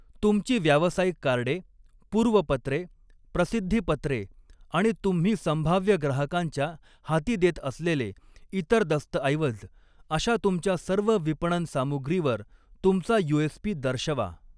तुमची व्यावसायिक कार्डे, पूर्वपत्रे, प्रसिद्धीपत्रे आणि तुम्ही संभाव्य ग्राहकांच्या हाती देत असलेले इतर दस्तऐवज अशा तुमच्या सर्व विपणन सामुग्रीवर तुमचा यूएसपी दर्शवा.